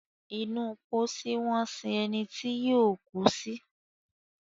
inú pósí wón sìn ení tíó kú sí.